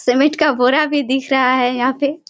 Cement का बोरा भीं दिख रहा हैं यहाँ पे।